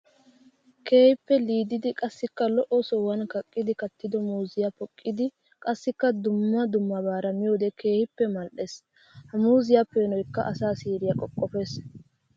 Keehippe liididdi qassikka lo'o sohuwan kaqqiddi kattiddo muuziya poqqiddi qassikka dumma dummabara miyoode keehippe mali'ees. Ha muuziyabpeenoykka asaa siiriya qoqqopes.